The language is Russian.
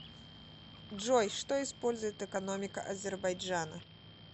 джой что использует экономика азербайджана